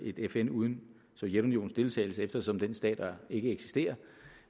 et fn uden sovjetunionens deltagelse eftersom den stat ikke eksisterer